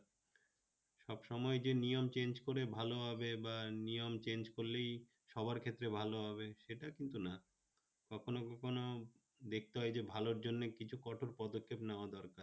সব সময় যে নিয়ম change করে ভালোভাবে বা নিয়ম change করলেই সবার ক্ষেত্রে ভালো হবে সেটা কিন্তু না, কখনো কখনো দেখতে হয় যে ভালোর জন্য কিছু কঠোর পদক্ষেপ নেওয়া দরকার